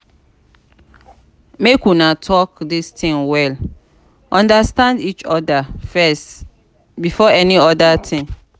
make una talk dis thing well understand each other first before any other thing